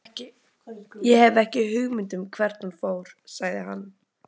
Ég hef ekki hugmynd um hvert hún fór, sagði hann.